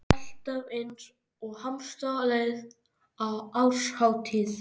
Alltaf eins og hamstur á leið á árshátíð.